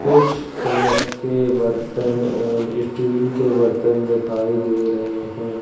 कुछ कवच के बर्तन एंड स्टील के बर्तन दिखाई दे रहे हैं।